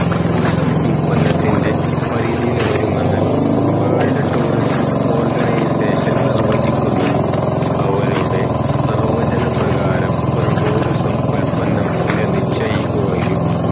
tourism ഉല്പന്നത്തിന്റെ പരിധിയിൽ വരുമെന്ന് വേൾഡ് ടൂറിസം ഓർഗനൈസേഷൻ നിർവചിക്കുന്നു അവരുടെ നിവചന പ്രകാരം ഒരു tourism ഉത്പന്നം വില നിശ്ചയിക്കുകയും